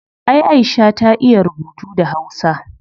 Ay aisha ta iya rubutu da hausa